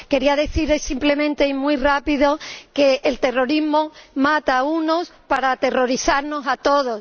Quería decirles simplemente, y muy rápido, que el terrorismo mata a unos para aterrorizarnos a todos.